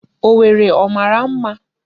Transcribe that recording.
Owerri ọ mara mma?